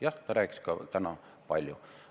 Jah, ta rääkis ka täna palju.